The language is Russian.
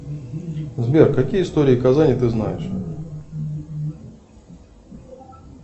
сбер какие истории казани ты знаешь